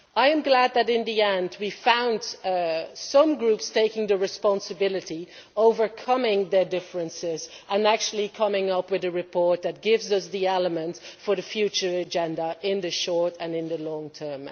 I am glad that in the end we found some groups taking the responsibility, overcoming their differences and actually coming up with a report that gives us the element for the future agenda in the short and in the long term.